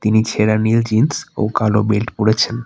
ইনি ছেড়া নীল জিন্স ও কালো বেল্ট পরেছেন।